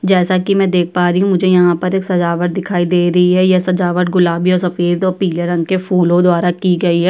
जैसा कि मैं देख पा रही हूं मुझे यहाँ पर एक सजावट दिखाई दे रही है यह सजावट गुलाबि और सफेद और पीले रंग के फूलों द्वारा की गई है।